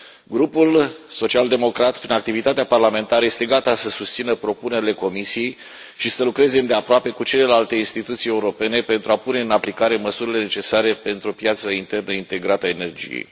Grupul Social Democrat, prin activitatea parlamentară, este gata să susțină propunerile Comisiei și să lucreze îndeaproape cu celelalte instituții europene pentru a pune în aplicare măsurile necesare pentru o piață internă integrată a energiei.